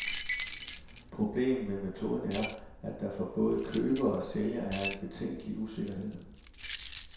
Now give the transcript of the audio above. Problemet med metoden er, at der for både køber og sælger er en betænkelig usikkerhed.